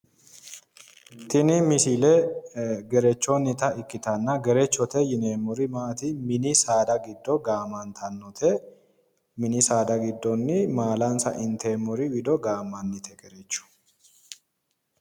Tini misile gerechonnita ikkitanna gerechote yineemmori mini saada giddo gaamantannote mini saada giddoonni maalansa inteemmori giddo gaamantannote.